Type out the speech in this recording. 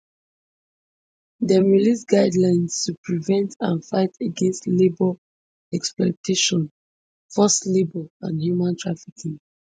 dem release guidelines to prevent and fight against labour exploitation forced labour and human trafficking